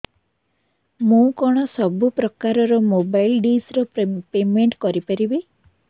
ମୁ କଣ ସବୁ ପ୍ରକାର ର ମୋବାଇଲ୍ ଡିସ୍ ର ପେମେଣ୍ଟ କରି ପାରିବି